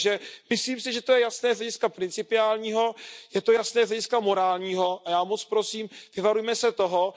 Takže myslím si, že to je jasné z hlediska principiálního, je to jasné z hlediska morálního a já moc prosím, vyvarujme se toho.